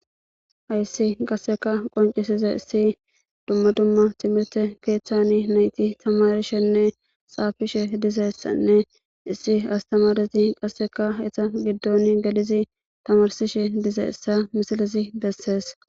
hayssi qasseka qoncisiza issi dumma dumma timirte keethchani nayti tamarishenne xaafishe dizayssanne issi astamadasi qasseka eta giddon gadizi tamarsishe dize issa misilizi bessees